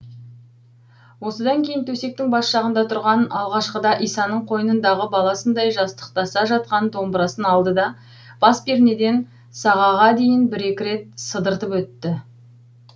осыдан кейін төсектің бас жағында тұрған алғашқыда исаның қойнындағы баласындай жастықтаса жатқан домбырасын алды да бас пернеден сағаға дейін бір екі рет сыдыртып өтті